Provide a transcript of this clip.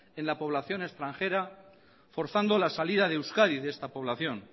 en la población extranjera forzando la salida de euskadi de esta población